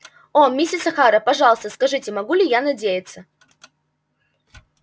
о миссис охара пожалуйста скажите могу ли я надеяться